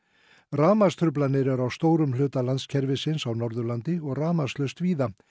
rafmagnstruflanir eru á stórum hluta á Norðurlandi og rafmagnslaust víða